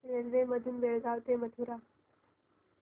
railway मधून बेळगाव ते मथुरा